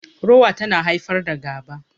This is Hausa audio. Rowa tana haifar da gaba